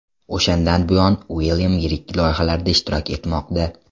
O‘shandan buyon Uilyam yirik loyihalarda ishtirok etmoqda.